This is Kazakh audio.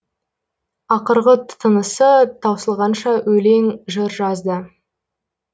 ақырғы тынысы таусылғанша өлең жыр жазды